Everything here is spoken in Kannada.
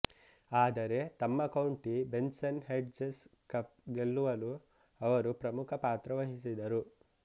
ಆದರೆ ತಮ್ಮ ಕೌಂಟಿ ಬೆನ್ಸನ್ ಹೆಡ್ಜಸ್ ಕಪ್ ಗೆಲ್ಲುವಲು ಅವರು ಪ್ರಮುಖ ಪಾತ್ರ ವಹಿಸಿದರು